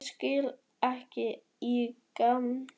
Ég skil ekki í gæjanum að vera með svona stæla!